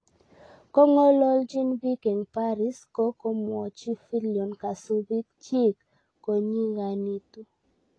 Kongong'alalnchin biik eng paris ko komwochi Fillion kasubiik chik konyiganitu